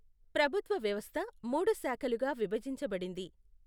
ప్రభుత్వ వ్యవస్థ మూడు శాఖలుగా విభజించబడింది.